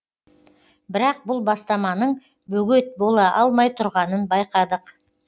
бірақ бұл бастаманың бөгет бола алмай тұрғанын байқадық